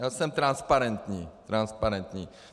Já jsem transparentní, transparentní.